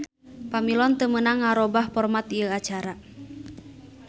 Pamilon teu meunang ngarobah format ieu kaca.